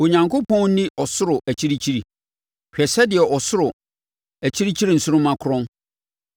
“Onyankopɔn nni ɔsoro akyirikyiri? Hwɛ sɛdeɛ ɔsoro akyirikyiri nsoromma korɔn!